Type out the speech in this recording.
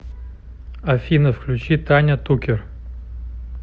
афина включи таня тукер